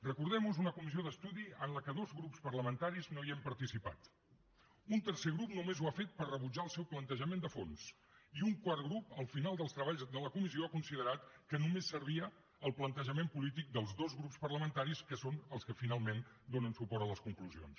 recordem ho és una comissió d’estudi en què dos grups parlamentaris no hem participat un tercer grup només ho ha fet per rebutjar el seu plantejament de fons i un quart grup al final dels treballs de la comissió ha considerat que només servia al plantejament polític dels dos grups parlamentaris que són els que finalment donen suport a les conclusions